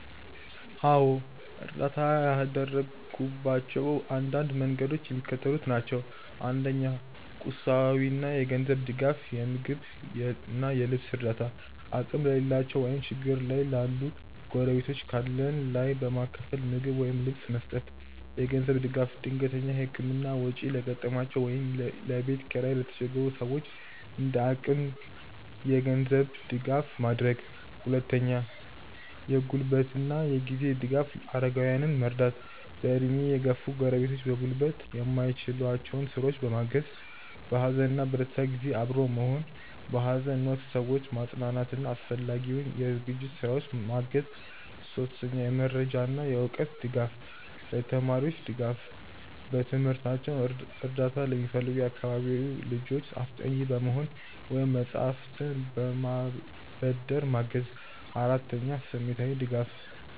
.አዎ፣ እርዳታ ያደረግኩባቸው አንዳንድ መንገዶች የሚከተሉት ናቸው፦ 1. ቁሳዊና የገንዘብ ድጋፍ የምግብና የልብስ እርዳታ፦ አቅም ለሌላቸው ወይም ችግር ላይ ላሉ ጎረቤቶች ካለን ላይ በማካፈል ምግብ ወይም ልብስ መስጠት። የገንዘብ ድጋፍ፦ ድንገተኛ የሕክምና ወጪ ለገጠማቸው ወይም ለቤት ኪራይ ለተቸገሩ ሰዎች እንደ አቅም የገንዘብ ድጋፍ ማድረግ። 2. የጉልበትና የጊዜ ድጋፍ አረጋውያንን መርዳት፦ በዕድሜ የገፉ ጎረቤቶች በጉልበት የማይችሏቸውን ሥራዎች በማገዝ። በሐዘንና በደስታ ጊዜ አብሮ መሆን፦ በሐዘን ወቅት ሰዎችን ማጽናናትና አስፈላጊውን የዝግጅት ሥራዎች ማገዝ 3. የመረጃና የዕውቀት ድጋፍ ለተማሪዎች ድጋፍ፦ በትምህርታቸው እርዳታ ለሚፈልጉ የአካባቢው ልጆች አስጠኚ በመሆን ወይም መጻሕፍትን በማበደር ማገዝ። 4. ስሜታዊ ድጋፍ